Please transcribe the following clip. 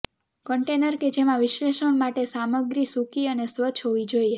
container કે જેમાં વિશ્લેષણ માટે સામગ્રી સૂકી અને સ્વચ્છ હોવી જોઈએ